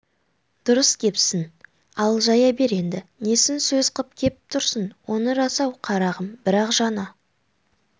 дұрыс кепсін ал жая бер енді несін сөз қып кеп тұрсың оның рас-ау қарағым бірақ жаңа